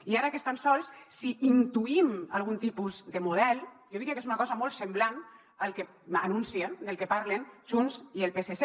i ara que estan sols si intuïm algun tipus de model jo diria que és una cosa molt semblant al que anuncien del que parlen junts i el psc